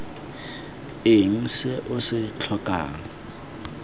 eng se o se tlhokang